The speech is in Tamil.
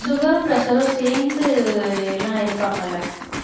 sugar ரும் pressure ம் சேர்ந்து எல்லாம் இருப்பாங்கல்ல